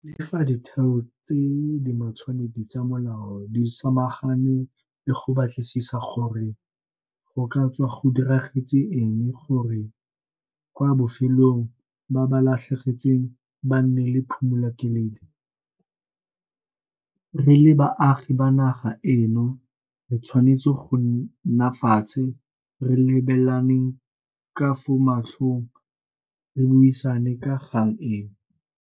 Le fa ditheo tse di matshwanedi tsa molao di samagane le go batlisisa gore go ka tswa go diragetse eng gore kwa bofelong ba ba latlhegetsweng ba nne le phimolakeledi, re le baagi ba naga eno re tshwanetse go nna fatshe re lebelaneng ka fo matlhong re buisane ka kgang eno.